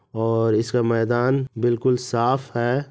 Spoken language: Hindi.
और इसका मैदान बिल्कुल साफ है।